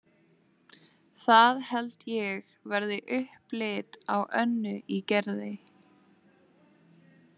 Það held ég verði upplit á Önnu í Gerði.